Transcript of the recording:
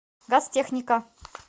газтехника